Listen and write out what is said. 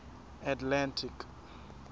atlantic